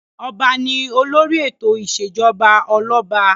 Ọba ni olórí ètò ìṣèjọba ọlọ́ba.